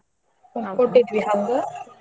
.